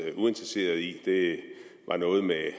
uinteresseret i det var noget med at